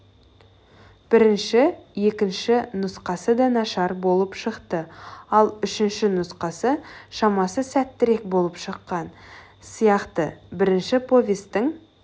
бірінші екінші нұсқасы да нашар болып шықты ал үшінші нұсқасы шамасы сәттірек болып шыққан сияқтыбірінші повестің